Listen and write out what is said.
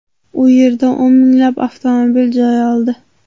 U yerdan o‘n minglab avtomobil joy oldi .